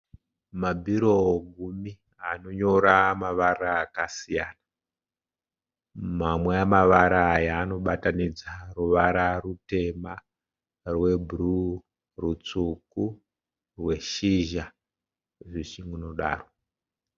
Mabiro gumi anonyora mavara akasiyana, Manwe amavara aya anobatanidza ruvara rutema, rwebruu, rutsvuku, rweshizha zvichingunodaro